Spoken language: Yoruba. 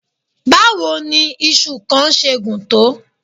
Báwo ni iṣu kan ṣe gùn tó?